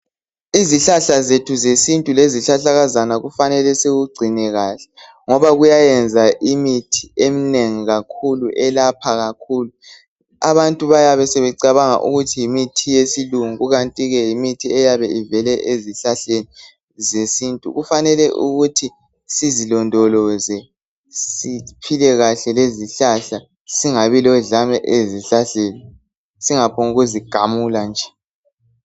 Izihlahla zethu zesintu lezihlahlakazana kufanele sikugcine kahle ngoba kuyayenza imithi eminengi kakhulu elapha kakhulu. Abantu bayabe sebecabanga ukuthi yimithi yesilungu kukanti ke yimithi eyabe ivele ezihlahleni zesintu. Kufanele ukuthi sizilondoloze, siphile kahle lezihlahla, singabi lodlame ezihlahleni, singaphonguzi gamula nje.